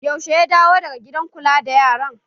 Yaushe ya dawo daga gidan kula da yaran?